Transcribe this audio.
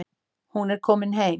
Hún er komin heim.